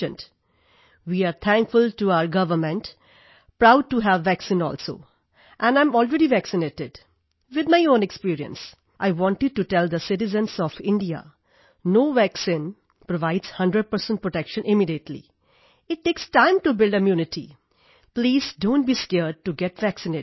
way are thankful to our government proud to have a vaccine also and I am already vaccinated with my own experience I wanted to tell the citizens of India no vaccine provides 100 protection immediately it takes time to build immunity please donਟ be scared to get vaccinated